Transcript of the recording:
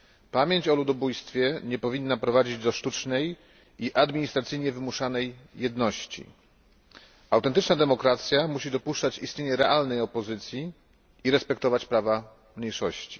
Pamięć o ludobójstwie nie powinna prowadzić do sztucznej i administracyjnie wymuszanej jedności. Autentyczna demokracja musi dopuszczać istnienie realnej opozycji i respektować prawa mniejszości.